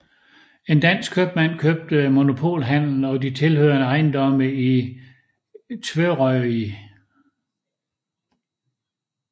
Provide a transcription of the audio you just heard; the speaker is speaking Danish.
En dansk købmand købte monopolhandelen og de tilhørende ejendomme i Tvøroyri